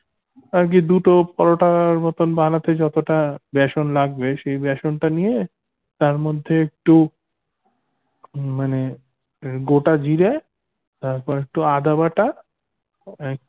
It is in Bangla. আগে দুটো পরোটার মতন বানাতে যতটা বেসন লাগবে সেই বেসনটা নিয়ে তার মধ্যে একটু মানে গোটা জিড়ে এরপর একটু আদা বাটা